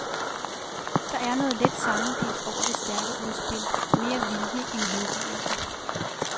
Der er noget let sammenbidt over det stærke udspil, mere vilje end hengivelse.